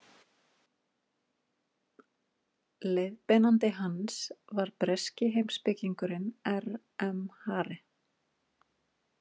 Leiðbeinandi hans var breski heimspekingurinn R M Hare.